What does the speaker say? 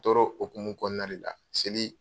tɔrɔ hokumu kɔnɔna de la seli